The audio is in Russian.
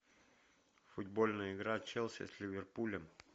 футбольная игра челси с ливерпулем